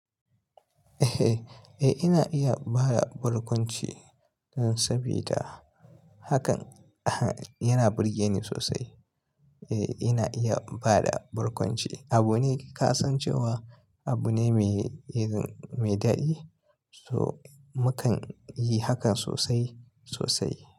Eh, ina iya ba da barkwanci saboda hakan yana burge ni sosai. Eh, ina iya ba da barkwanci. Abune ka san cewa abune mai yayi daɗi, so mu kan yi hakan sosai sosai.